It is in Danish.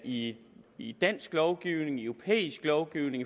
i i dansk lovgivning i europæisk lovgivning